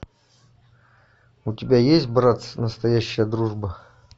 у тебя есть братц настоящая дружба